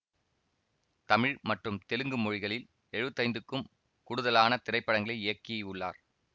தமிழ் மற்றும் தெலுங்கு மொழிகளில் எழுவத்தி ஐந்துக்கும் கூடுதலான திரைப்படங்களை இயக்கி உள்ளார்